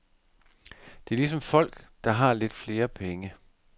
Det er ligesom folk, der har lidt flere penge.